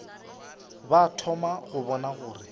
ba thoma go bona gore